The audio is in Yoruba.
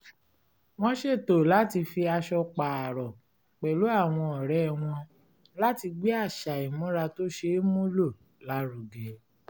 wọ́n ṣètò láti fi aṣọ pààrọ̀ pẹ̀lú àwọn ọ̀rẹ́ wọn láti gbé àṣà ìmúra tó ṣeé mú lò lárugẹ